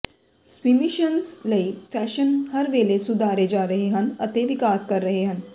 ਸਵੀਮਿਸ਼ਨਜ਼ ਲਈ ਫੈਸ਼ਨ ਹਰ ਵੇਲੇ ਸੁਧਾਰੇ ਜਾ ਰਹੇ ਹਨ ਅਤੇ ਵਿਕਾਸ ਕਰ ਰਹੇ ਹਨ